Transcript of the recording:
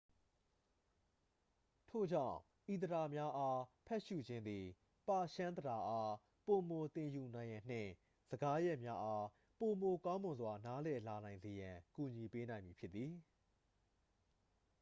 ထို့ကြောင့် ဤသဒ္ဒါများအား ဖတ်ရှု့ခြင်းသည် ပါရှန်းသဒ္ဒါအား ပိုမိုသင်ယူနိုင်ရန်နှင့် စကားရပ်များအား ပိုမိုကောင်းမွန်စွာ နားလည်လာစေရန်အတွက် ကူညီပေးနိုင်မည်ဖြစ်သည်